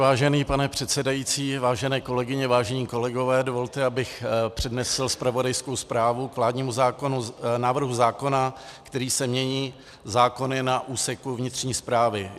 Vážený pane předsedající, vážené kolegyně, vážení kolegové, dovolte, abych přednesl zpravodajskou zprávu k vládnímu návrhu zákona, kterým se mění zákony na úseku vnitřní správy.